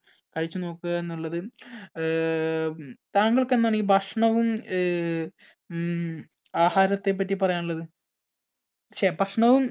കഴിച്ചുനോക്കുക എന്നുള്ളത് ഏർ താങ്കൾക്ക് എന്താണ് ഈ ഭക്ഷണവും ഏർ ഉം ആഹാരത്തെപ്പറ്റി പറയാൻ ഉള്ളത് ഛേ, ഭക്ഷണവും